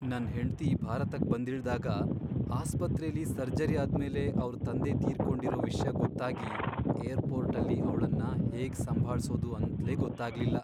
ನನ್ ಹೆಂಡ್ತಿ ಭಾರತಕ್ ಬಂದಿಳ್ದಾಗ ಆಸ್ಪತ್ರೆಲಿ ಸರ್ಜರಿ ಆದ್ಮೇಲೆ ಅವ್ರ್ ತಂದೆ ತೀರ್ಕೊಂಡಿರೋ ವಿಷ್ಯ ಗೊತ್ತಾಗಿ ಏರ್ಪೋರ್ಟಲ್ಲಿ ಅವ್ಳನ್ನ ಹೇಗ್ ಸಂಭಾಳ್ಸೋದು ಅಂತ್ಲೇ ಗೊತ್ತಾಗ್ಲಿಲ್ಲ.